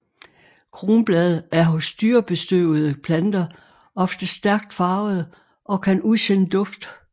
Kronblade er hos dyrebestøvede planter ofte stærkt farvede og kan udsende duft